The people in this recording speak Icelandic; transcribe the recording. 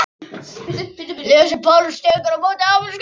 Lísa Páls tekur á móti afmæliskveðjum.